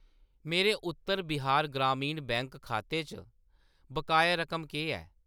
मेरे उत्तर बिहार ग्रामीण बैंक खाते च बकाया रकम केह् ऐ ?